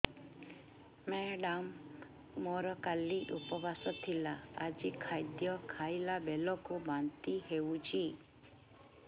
madam ମୋର କାଲି ଉପବାସ ଥିଲା ଆଜି ଖାଦ୍ୟ ଖାଇଲା ବେଳକୁ ବାନ୍ତି ହେଊଛି